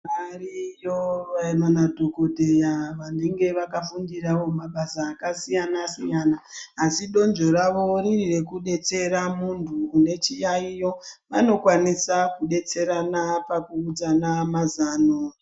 Variyo vana madhogodheya venenge vakafundiravo mabasa akasiyana-siyana. Asi donzvo ravo riri rekubetsera muntu une chiyaiyo vanokwanisa kubetserana pakuudzana mazano.